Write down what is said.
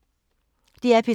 DR P3